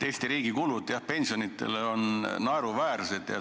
Eesti riigi kulutused pensionidele on naeruväärsed.